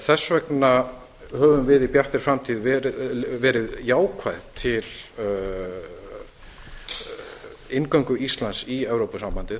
þess vegna höfum við í bjartri framtíð verið jákvæð til inngöngu íslands í evrópusambandið